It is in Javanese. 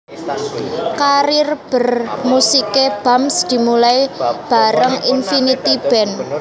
Karir bermusiké Bams dimulai bareng Infinity Band